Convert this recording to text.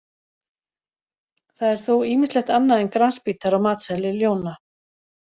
Það er þó ýmislegt annað en grasbítar á matseðli ljóna.